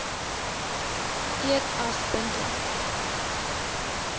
eed as bindend